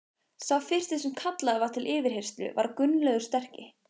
Sá fyrsti sem kallaður var til yfirheyrslu var Gunnlaugur sterki.